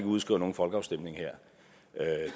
udskriver nogen folkeafstemning her